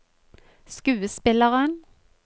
skuespilleren